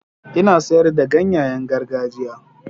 Ina sayar da ganyayen gargajiya.